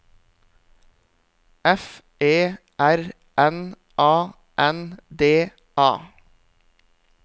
F E R N A N D A